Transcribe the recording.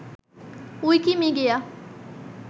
Wikimedia